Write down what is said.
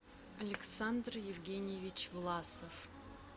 александр евгеньевич власов